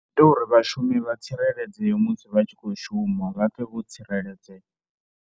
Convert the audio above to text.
Zwo ita uri vhashumi vha tsireledzeye musi vha tshi khou shuma, vha pfhe vho tsireledzea.